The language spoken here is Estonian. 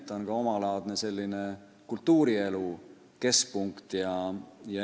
Ta on ka omalaadne kultuurielu keskpunkt.